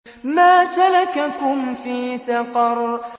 مَا سَلَكَكُمْ فِي سَقَرَ